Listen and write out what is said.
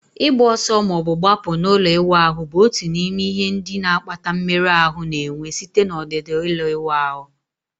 Ịgba ọsọ ma ọ bụ gbapụ n'ụlọ ịwụ ahụ bụ otu n'ime ihe ndị na-akpata mmerụ ahụ na-enwe site na ọdịda ụlọ ịwụ ahụ